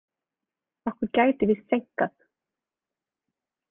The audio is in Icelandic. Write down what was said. Okkur gæti víst seinkað.